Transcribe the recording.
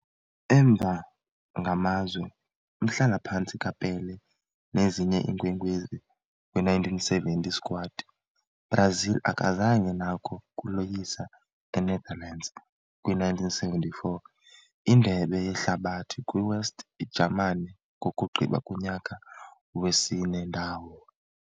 Emva ngamazwe umhlala-phantsi ka-Pelé nezinye iinkwenkwezi kwi-1970 squad, Brazil akazange nako kuloyisa Enetherlands kwi - 1974 Indebe Yehlabathi kwi - West Ijamani, kokugqiba kunyaka wesine ndawo.